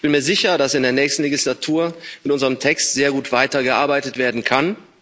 Ich bin mir sicher, dass in der nächsten Wahlperiode an unserem Text sehr gut weitergearbeitet werden kann.